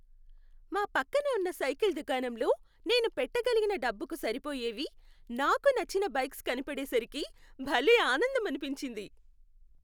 మా పక్కన ఉన్న సైకిల్ దుకాణంలో నేను పెట్టగలిగిన డబ్బుకు సరిపోయేవి, నాకు నచ్చిన బైక్స్ కనబడేసరికి భలే ఆనందమనిపించింది.